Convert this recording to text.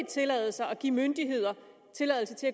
tillade sig at give myndigheder tilladelse til